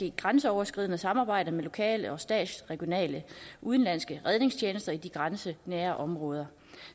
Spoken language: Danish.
et grænseoverskridende samarbejde med lokale regionale og statslige udenlandske redningstjenester i de grænsenære områder